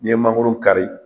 N'i ye mangoro kari